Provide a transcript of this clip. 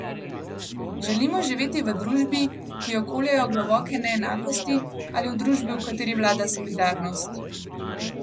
Želimo živeti v družbi, ki jo koljejo globoke neenakosti, ali v družbi, v kateri vlada solidarnost?